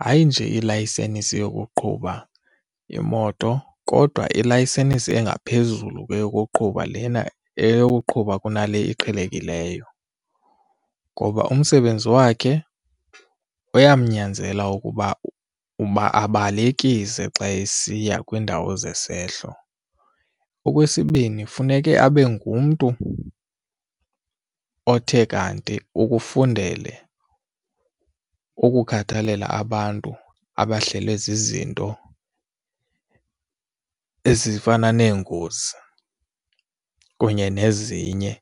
Hayi nje ilayisenisi yokuqhuba imoto kodwa ilayisenisi engaphezulu kweyokuqhuba lena eyokuqhuba kunale iqhelekileyo ngoba umsebenzi wakhe uyamnyanzela ukuba uba abalekise xa esiya kwiindawo zesehlo. Okwesibini, funeke abe ngumntu othe kanti ukufundele ukukhathalela abantu abahlelwe zizinto ezifana neengozi kunye nezinye.